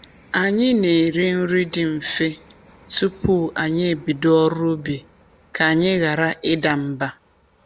Anyị na-eri nri dị mfe tupu anyị e bido ọrụ ubi ka anyị ghara ịda mba.